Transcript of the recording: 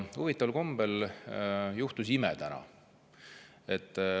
Huvitaval kombel juhtus täna ime.